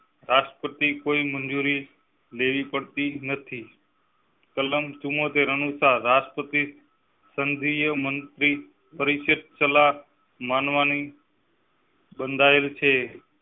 રાષ્ટ્રપતિ કોઈ મંજૂરી લેવી પડતી નથી. કલમ ચુંમોતેર અનુસાર રાષ્ટ્રપતિ સંઘીય મંત્રી માનવા ની બંધાયેલ છે